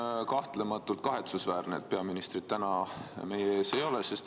On kahtlematult kahetsusväärne, et peaministrit täna meie ees ei ole.